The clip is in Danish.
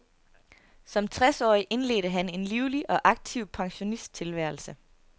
Som tres årig indledte han en livlig og aktiv pensionisttilværelse.